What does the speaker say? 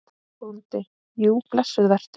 BÓNDI: Jú, blessuð vertu.